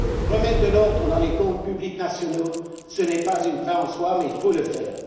Remettre de l'ordre dans les comptes nationaux n'est pas une fin en soi, mais il faut le faire.